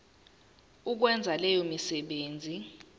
ukwenza leyo misebenzi